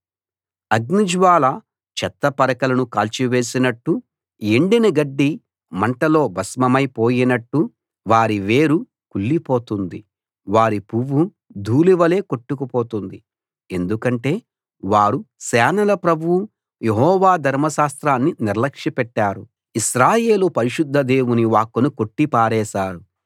అగ్నిజ్వాల చెత్త పరకలను కాల్చివేసినట్టు ఎండిన గడ్డి మంటలో భస్మమై పోయినట్టు వారి వేరు కుళ్లి పోతుంది వారి పువ్వు ధూళివలె కొట్టుకుపోతుంది ఎందుకంటే వారు సేనల ప్రభువు యెహోవా ధర్మశాస్త్రాన్ని నిర్లక్ష్యపెట్టారు ఇశ్రాయేలు పరిశుద్ధ దేవుని వాక్కును కొట్టి పారేసారు